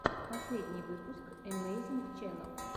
последний выпуск эмэйзинг ченнал